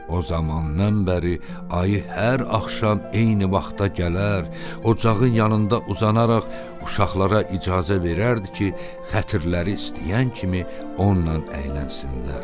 O zamandan bəri ayı hər axşam eyni vaxta gələr, ocağın yanında uzanaraq uşaqlara icazə verərdi ki, xətirləri istəyən kimi onunla əylənsinlər.